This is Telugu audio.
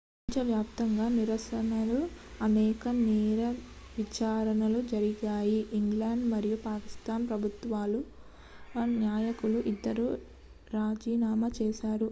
ప్రపంచవ్యాప్తంగా నిరసనలు అనేక నేర విచారణలు జరిగాయి ఐస్లాండ్ మరియు పాకిస్తాన్ ప్రభుత్వాల నాయకులు ఇద్దరూ రాజీనామా చేశారు